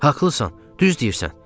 Haqlısan, düz deyirsən.